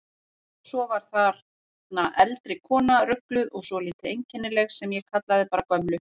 Svo var þarna eldri kona, rugluð og svolítið einkennileg, sem ég kallaði bara gömlu.